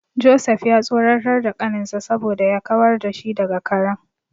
Joseph ya tsoratar da kaninsa saboda ya kawar da shi daga karen.